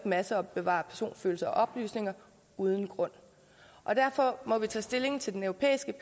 masseopbevare personfølsomme oplysninger uden grund derfor må vi tage stilling til det europæiske